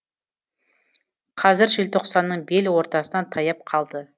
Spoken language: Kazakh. қазір желтоқсанның бел ортасына таяп қалды